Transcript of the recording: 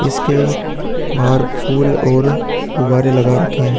इसके बाहर फूल और गुब्बारे लगा रखे हैं।